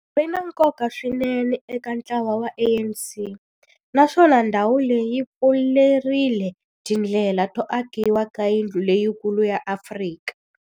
Ri na nkoka swinene eka ntlawa wa ANC, naswona ndhawu leyi yi pfurile tindlela to akiwa ka yindlu leyikulu ya Afrika.